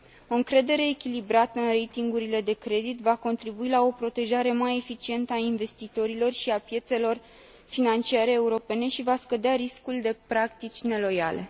O încredere echilibrată în ratingurile de credit va contribui la o protejare mai eficientă a investitorilor și a piețelor financiare europene și va scădea riscul de practici neloiale.